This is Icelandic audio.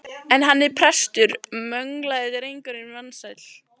En hann er prestur, möglaði drengurinn vansæll.